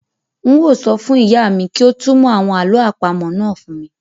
Un ó sọ fún ìyá mi kí ó túnmọ̀ àwọn àlọ́ àpamọ́ náà fún mi